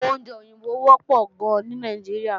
Àwọn oúnjẹ òyìnbó wọ́pọ̀ gan ní Nàìjíríà